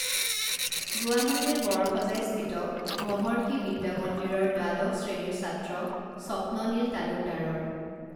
গুৱাহাটীৰ বৰসজাইস্থিত মহৰ্ষি বিদ্যা মন্দিৰৰ দ্বাদশ শ্ৰেণীৰ ছাত্ৰ স্বপ্ননীল তালুকদাৰৰ